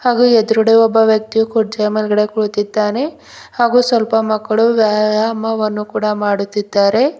ಹಾಗು ಎದ್ರುಗಡೆ ಒಬ್ಬ ವ್ಯಕ್ತಿ ಕುರ್ಚಿಯ ಮೇಲ್ಗಡೆ ಕುಳಿತಿದ್ದಾನೆ ಹಾಗು ಸ್ವಲ್ಪ ಮಕ್ಳು ವ್ಯಾಯಾಮವನ್ನು ಕೂಡ ಮಾಡುತ್ತಿದ್ದಾರೆ.